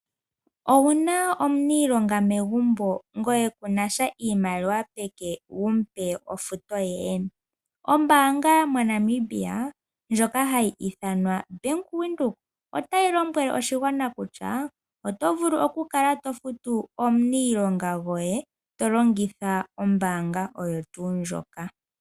Owuna omuniilonga megumbo ngoye kunasha iimaliwa peke wumupe ofuto ye? Ombaanga yomoNamibia ndjoka hayi ithanwa Bank Windhoek otayi lombwele oshigwana kutya otovulu okukala tofutu omuniilonga goye tolongitha ombaanga oyo tuu ndjoka.